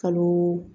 Kalo